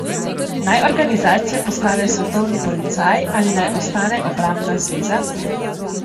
Naj organizacija postane svetovni policaj ali naj ostane obrambna zveza?